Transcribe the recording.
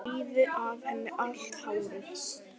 Rífi af henni allt hárið.